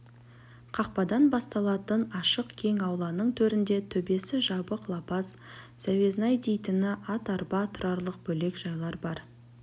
қақпадан басталатын ашық кең ауланың төрінде төбесі жабық лапас зәуезнай дейтін ат-арба тұрарлық бөлек жайлар бар